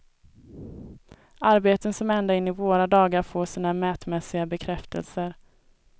Arbeten som ända in i våra dagar får sina mätmässiga bekräftelser.